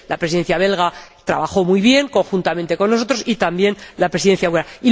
La Presidencia belga trabajó muy bien, conjuntamente con nosotros, y también la Presidencia húngara.